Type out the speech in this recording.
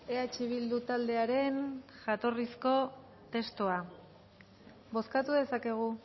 eh bildu taldearen jatorrizko testua bozkatu dezakegu